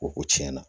O ko tiɲɛna